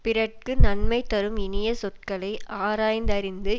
பிறர்க்கு நன்மை தரும் இனிய சொற்களை ஆராய்ந்தறிந்து